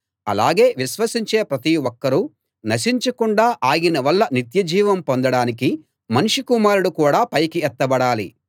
అలాగే విశ్వసించే ప్రతి ఒక్కరూ నశించకుండా ఆయన వల్ల నిత్యజీవం పొందడానికి మనుష్య కుమారుడు కూడా పైకి ఎత్తబడాలి